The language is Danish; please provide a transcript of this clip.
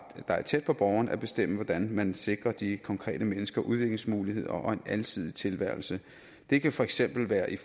er tæt på borgeren at bestemme hvordan man sikrer de konkrete mennesker udviklingsmuligheder og en alsidig tilværelse det kan for eksempel være et